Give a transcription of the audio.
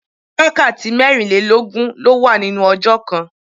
Wákàtí mẹ́rin lé lógún ló wà nínú ọjọ́ kan.